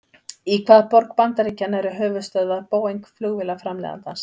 Í hvaða borg bandaríkjanna eru höfuðstöðvar Boeing flugvélaframleiðandans?